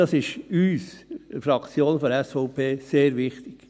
– Das ist uns, der Fraktion der SVP, sehr wichtig.